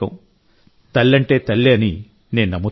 తల్లంటే తల్లే అని నేను నమ్ముతున్నాను